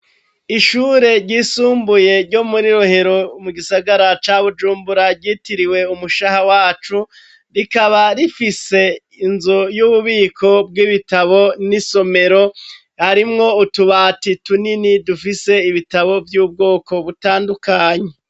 Ishure ryisumbuye ryo muri Rohero mu gisagara ca Bujumbura ryitiriwe "Umushaha wacu",rikaba rifise inzu y'ububiko bw'ibitabo n'isomero. Harimwo utubati tunini dufise ibitabo vy'ubwoko butandukanye.